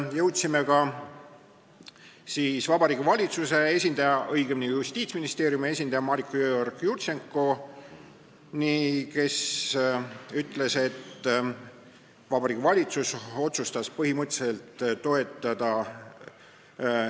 Jõudsime ka Vabariigi Valitsuse esindaja, õigemini Justiitsministeeriumi esindaja Mariko Jõeorg-Jurtšenkoni, kes ütles, et Vabariigi Valitsus otsustas hümnieelnõu põhimõtteliselt toetada.